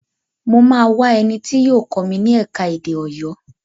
Mo máa wá ẹni tí yóò kọ́ mi ni ẹ̀ka-èdè Ọ̀yọ́